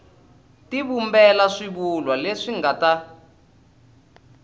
tivumbela swivulwa leswi nga ta